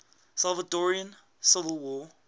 salvadoran civil war